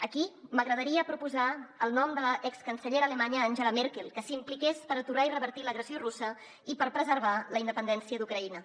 aquí m’agradaria proposar el nom de l’excancellera alemanya angela merkel que s’impliqués per aturar i revertir l’agressió russa i per preservar la independència d’ucraïna